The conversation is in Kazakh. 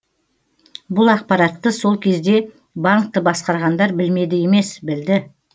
бұл ақпаратты сол кезде банкті басқарғандар білмеді емес білді